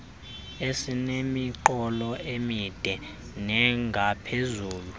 esinemiqolo emide nengaphezulu